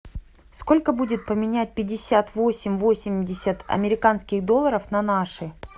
сколько будет поменять пятьдесят восемь восемьдесят американских долларов на наши